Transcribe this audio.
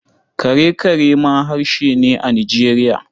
Kare-kare ma harshe ne a Nijeriya.